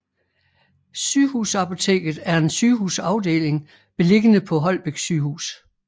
Sygehusapoteket er en sygehusafdeling beliggende på Holbæk Sygehus